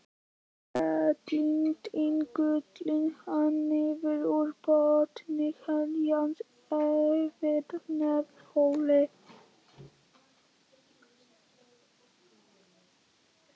Heiladingullinn hangir niður úr botni heilans yfir nefholi.